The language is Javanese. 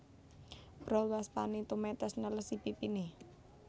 Brol waspané tumetes nelesi pipiné